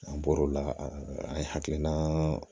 An bɔr'o la an ye hakilina